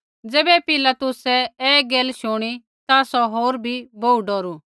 ज़ैबै पिलातुसै ऐ गैला शूणी ता सौ होर बी बोहू डौरू